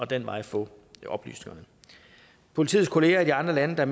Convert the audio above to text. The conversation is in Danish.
den vej få oplysningerne politiets kolleger i de andre lande der